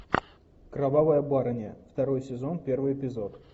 кровавая барыня второй сезон первый эпизод